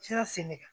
Sera sen ne kan